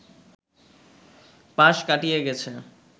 পাশ কাটিয়ে গেছে